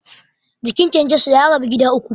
Jikin kyankyaso ya rabu gida uku.